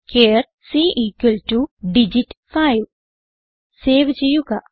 ചാർ c digit 5 save ചെയ്യുക